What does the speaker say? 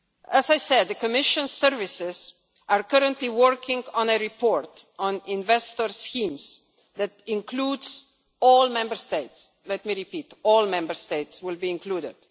as I said, the Commission is currently working on a report on investor schemes, which includes all Member States. Let me repeat all Member States will be included.